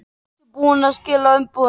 Ertu búinn að skila umboðinu?